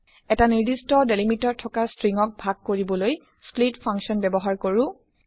এটা নিৰ্দস্ট ডেলিমিটাৰ থকা ষ্ট্ৰিং ক ভাগ কৰিবলৈ স্প্লিট ফাংচন ব্যৱহাৰ কৰে